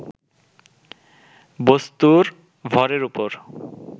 বস্তুর ভরের উপর